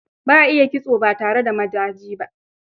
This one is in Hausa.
Ba a iya kitso ba tare da mataji ba.